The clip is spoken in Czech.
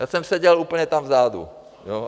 Já jsem seděl úplně tam vzadu.